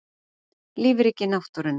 Lífríki náttúrunnar.